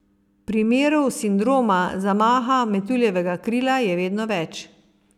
Primerov sindroma zamaha metuljevega krila je vedno več.